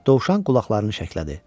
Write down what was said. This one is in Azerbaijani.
Dovşan qulaqlarını şəklədi.